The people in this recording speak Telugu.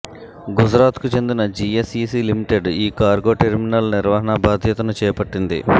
గుజరాత్కు చెందిన జిఎస్ఇసి లిమిటెడ్ ఈ కార్గోటెర్మినల్ నిర్వహణా బాధ్యతను చేపట్టింది